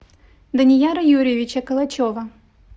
данияра юрьевича калачева